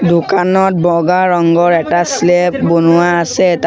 দোকানত বগা ৰঙৰ এটা শ্লেব বনোৱা আছে তাত--